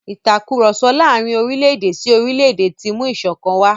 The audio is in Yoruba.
Ìtàkurọ̀sọ láàrin orílẹ̀-èdè sí orílẹ̀-èdè ti mú ìṣọ̀kan wà.